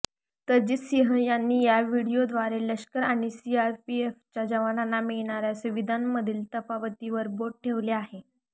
तरजीत सिंह यांनी या व्हिडीओद्वारे लष्कर आणि सीआरपीएफच्या जवानांना मिळणाऱ्या सुविधांमधील तफावतीवर बोट ठेवलं आहे